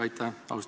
Aitäh!